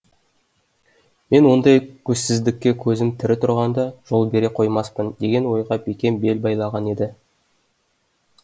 мен ондай көзсіздікке көзім тірі тұрғанда жол бере қоймаспын деген ойға бекем бел байлаған еді